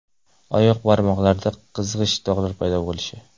Oyoq barmoqlarida qizg‘ish dog‘lar paydo bo‘lishi.